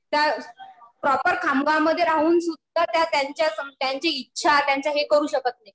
त्या प्रॉपर खामगाव मध्ये राहून सुद्धा त्या त्यांची इच्छा त्यांचं हे करू शकत नाही.